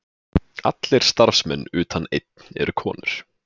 Allir starfsmenn utan einn eru konur